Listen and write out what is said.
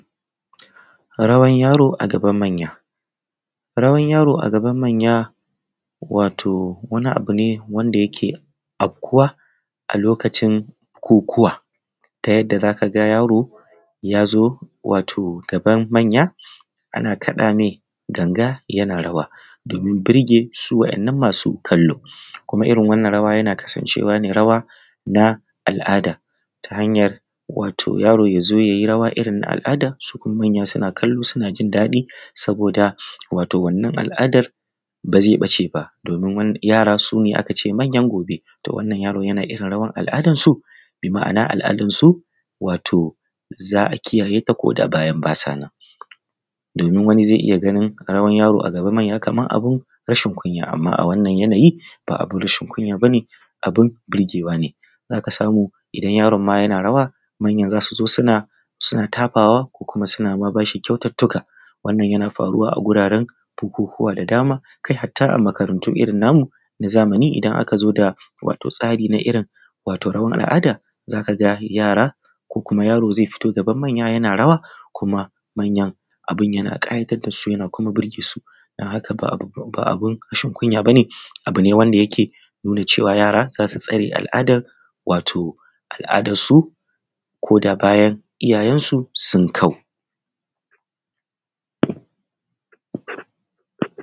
Rawan yaro a gaban manya. Rawan yaro a gaban manya wato wani abu ne wanda yake afkuwa a a lokacin kokuwa ta yadda za ka ga yari ya zo gaban manya ana kaɗa ganga domin burge su waɗannan masu kallo kuma irin wannan rawa yana kasan cewa rawa ne na al'ada ta hanyar yaro ya zo ya yi rawa irin na al'ada manya suna kallo suna jin daɗi saboda wannan al'adar bai ɓace ba. Domin yara su ne manyan gobe, to wannan yaro yana irin rawar al'adan su. Bi ma'ana al'adansu za a kiyaye ta ko da ba sa nan. Domin wani zai iya ganin rawan yaro a gaban manya rashin Kunya ne. Amma a wannan yanayi ba rashin kunya ba ne abun burgewa ne. Za ka samu idan ma yarin yana rawa manya za su zo suna tafawa komkuma ma suna ma shi kyaututtuka yana faruwa a guraren bukukuwa da dama, har ma a makarantu irin namu na zamani idan aka zo da tsari na rawar al'ada za ka ga yara, kuma yaro zai fito gaban manya yana rawa kuma manyan abunyan ƙayatar da su da kuma burge su don haka ba abun rashin kunya ba ne. Abu ne wanda yake nuna cewa yara za su tsare al'adarsu ko da bayan iyayen su sun kau.